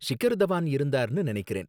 ஷிகர் தவான் இருந்தாருன்னு நினைக்கிறேன்